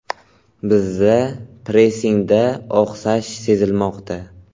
Bizda pressingda oqsash sezilmoqda.